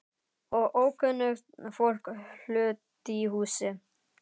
Og ókunnugt fólk flutt í húsið.